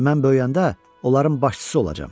Mən böyüyəndə, onların başçısı olacam.